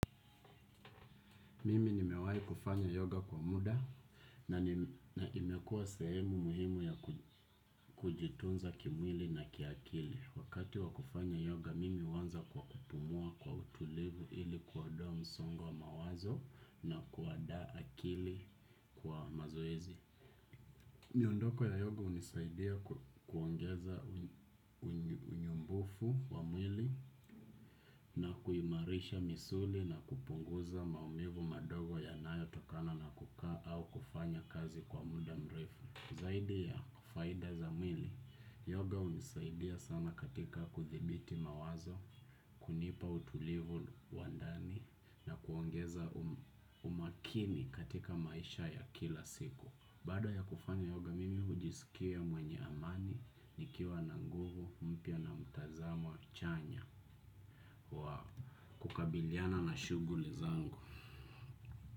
Mimi nimewai kufanya yoga kwa muda na imekua sehemu muhimu ya kujitunza kimwili na kiakili. Wakati wa kufanya yoga mimi huanza kwa kupumua kwa utulivu ili kuodoa msongo wa mawazo na kuadaa akili kwa mazoezi. Miondoko ya yoga unisaidia kuongeza unyumbufu wa mwili na kuimarisha misuli na kupunguza maumivu madogo yanayo tokana na kukaa au kufanya kazi kwa muda mrefu. Zaidi ya faida za mwili, yoga unisaidia sana katika kuthibiti mawazo, kunipa utulivu wa ndani na kuongeza umakini katika maisha ya kila siku. Baada ya kufanya yoga mimi ujisikia mwenye amani, nikiwa na nguvu, mpya na mtazamo wa chanya. Wa kukabiliana na shuguli zangu.